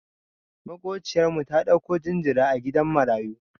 Maƙociyar mu ta ɗauko jinjira a gidan marayu.